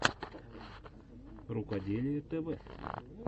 рукоделие тв